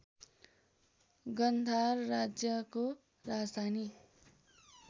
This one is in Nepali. गान्धार राज्यको राजधानी